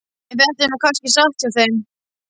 En þetta er nú kannski satt hjá þeim.